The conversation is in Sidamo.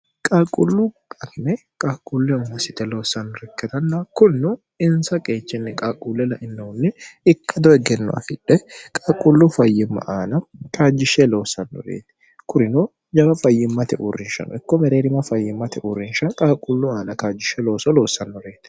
qalqullu bakime qaalqulle uma site loossanno rikketanna kunnu insa qeechinni qaaqquulle lainohunni ikka doi genno afidhe qalqullu fayyimma aana kaajjishshe loossannoreeti kurino jama fayyimmate uurrinshano ikko mereerima fayyimmate uurrinsha qalqullu aana kaajjishshe looso loossannoreeti